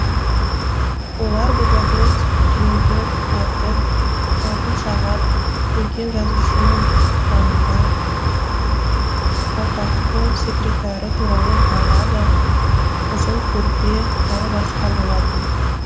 олар ботакөз жемпір әтір алтын сағат үлкен жазушының жанында аупартком секретары туралы баллада қызыл көрпе тағы басқа болатын